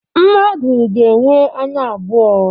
Mmadụ ga-enwe anya abụọ